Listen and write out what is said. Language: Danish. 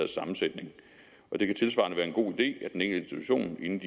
sammensætning og det kan tilsvarende være en god idé at den enkelte institution inden